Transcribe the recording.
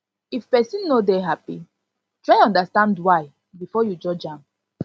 if pesin no dey happy try understand why before you judge am